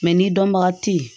ni dɔnbaga te yen